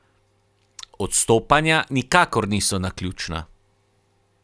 Odstopanja nikakor niso naključna.